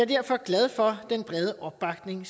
derfor glad for den brede opbakning